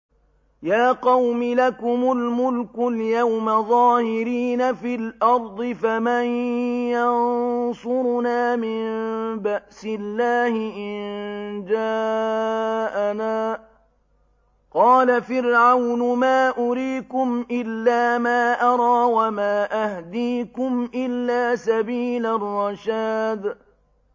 يَا قَوْمِ لَكُمُ الْمُلْكُ الْيَوْمَ ظَاهِرِينَ فِي الْأَرْضِ فَمَن يَنصُرُنَا مِن بَأْسِ اللَّهِ إِن جَاءَنَا ۚ قَالَ فِرْعَوْنُ مَا أُرِيكُمْ إِلَّا مَا أَرَىٰ وَمَا أَهْدِيكُمْ إِلَّا سَبِيلَ الرَّشَادِ